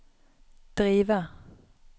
drive